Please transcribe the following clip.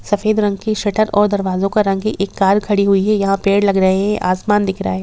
सफेद रंग की शटर और दरवाजे का रंग एक कार खड़ी हुई है यहाँ पेड़ लग रहे है आसमान दिख रहा है।